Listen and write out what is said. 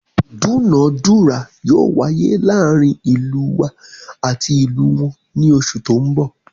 ìdúnadúrà yóò wáyé láàrin ìlú wa ati ìlú wọn ni oṣù tó ń bọ̀